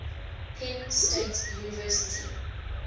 penn state university